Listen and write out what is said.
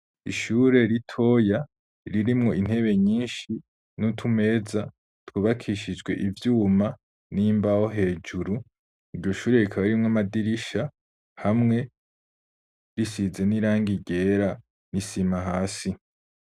Ishure ritoya ririmwo intebe nyinshi nutumeza yubakishije ivyuma nimbaho hejuru iryoshure rikaba ririmwo amadirisha hamwe risize nirangi ryera nisima hasi.